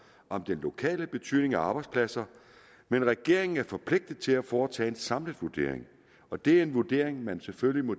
om den lokale betydning af arbejdspladser men regeringen er forpligtet til at foretage en samlet vurdering og det er en vurdering man selvfølgelig må